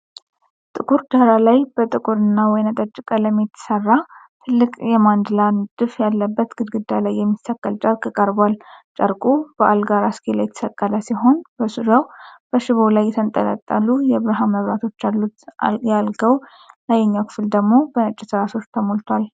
ጥቁር ዳራ ላይ በጥቁርና ወይን ጠጅ ቀለም የተሠራ ትልቅ የማንዳላ ንድፍ ያለበት ግድግዳ ላይ የሚሰቀል ጨርቅ ቀርቧል። ጨርቁ በአልጋ ራስጌ ላይ የተሰቀለ ሲሆን፣ በዙሪያው በሽቦ ላይ የተንጠለጠሉ የብርሃን መብራቶች አሉ። የአልጋው ላይኛው ክፍልደግሞ በነጭ ትራሶች ተሞልቷል።